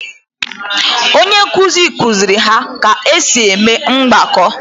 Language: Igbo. Onye nkuzi kuziri ha ka esi eme mgbako